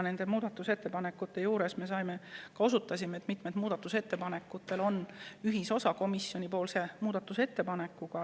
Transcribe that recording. Nende muudatusettepanekute arutelul me osutasime ka sellele, et mitmel ettepanekul on ühisosa komisjoni ettepanekuga.